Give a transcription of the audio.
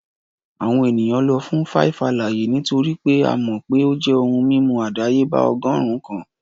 Awọn eniyan lọ fun 5-alaaye nitori pe a mọ pe o jẹ ohun mimu adayeba ọgọrun kan